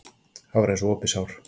Það var eins og opið sár.